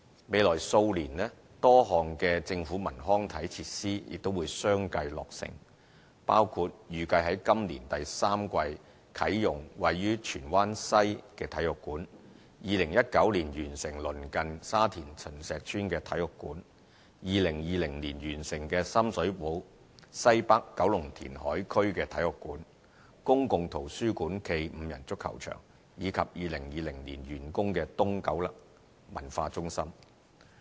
未來數年，多項政府文康體設施亦會相繼落成，包括預計於今年第三季啟用位於荃灣西的體育館、2019年完成鄰近沙田秦石邨的體育館、2020年完成的深水埗西北九龍填海區的體育館、公共圖書館暨5人足球場，以及2020年完工的東九文化中心。